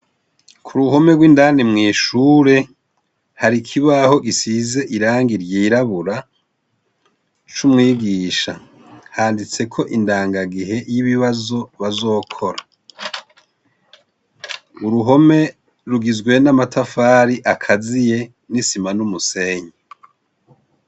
Kuruhome gw' indani mwishure hari ikibaho gisize irangi ryirabura c' umwigisha, handitseko indangagihe y' ibibazo bazokora, uruhome rugizwe n' amatafari akaziye n' isima n' umusenyi.